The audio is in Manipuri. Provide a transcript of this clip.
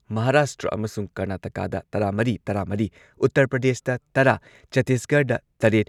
ꯃꯍꯥꯔꯥꯁꯇ꯭ꯔ ꯑꯃꯁꯨꯡ ꯀꯔꯅꯥꯇꯀꯥꯗ ꯇꯔꯥꯃꯔꯤ ꯇꯔꯥꯃꯔꯤ, ꯎꯇꯔ ꯄ꯭ꯔꯗꯦꯁꯇ ꯇꯔꯥ, ꯆꯇꯤꯁꯒꯔꯗ ꯇꯔꯦꯠ,